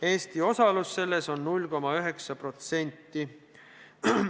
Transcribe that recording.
Eesti osalus selles on 0,9%.